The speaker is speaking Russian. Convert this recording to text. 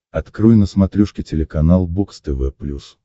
открой на смотрешке телеканал бокс тв плюс